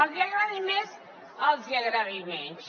els agradi més els agradi menys